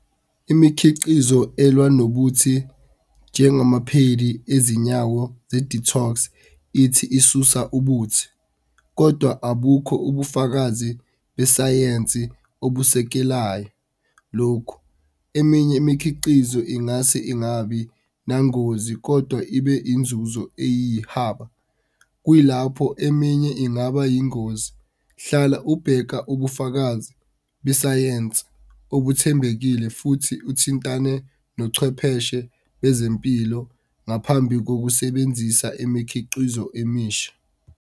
Imikhiqizo elwa nobuthi ngengamaphedi ezinyawo ze-detox ithi isusa ubuthi kodwa abukho ubufakazi besayensi obusekelayo lokhu. Eminye imikhiqizo ingase ingabi nangozi kodwa ibe inzuzo eyihaba, kuyilapho eminye ingaba ingozi. Hlala ubheka ubufakazi besayensi okuthembekile futhi uthintane nochwepheshe bezempilo ngaphambi kokusebenzisa imikhiqizo emisha.